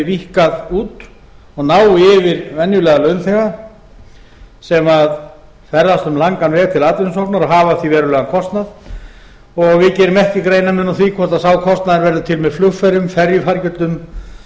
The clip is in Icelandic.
víkkað út og nái yfir venjulega launþega sem ferðast um langan veg til atvinnusóknar og hafa af því verulegan kostnað og við gerum ekki greinarmun á því hvort sá kostnaður verði til með